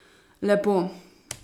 Lepo.